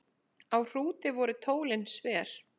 Á Hrúti voru tólin sver.